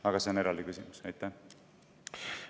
Aga see on eraldi.